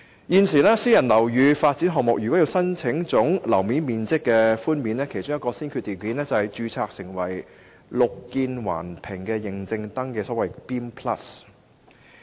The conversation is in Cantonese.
現時，私人樓宇發展項目如要申請總樓面面積寬免，其中一個先決條件是註冊"綠建環評"認證登記。